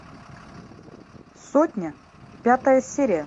сотня пятая серия